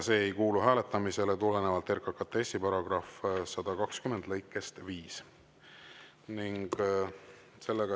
See ei kuulu hääletamisele tulenevalt RKKTS‑i § 120 lõikest 5.